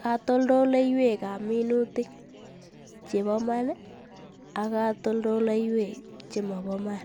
katoldoleiwekab minutik chebo maan ak katoldoleiwek chemobo Iman,